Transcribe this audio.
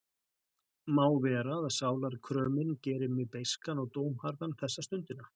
Má vera að sálarkrömin geri mig beiskan og dómharðan þessa stundina.